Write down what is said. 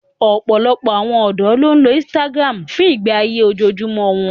Ọ̀pọ̀lọpọ̀ àwọn ọ̀dọ́ ló ń lo Instagram fún ìgbé ayé ojoojúmọ́ wọn